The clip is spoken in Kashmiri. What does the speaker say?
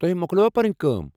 تۄہہ موكلٲوو پنٕنۍ كٲم ؟